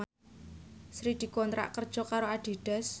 Sri dikontrak kerja karo Adidas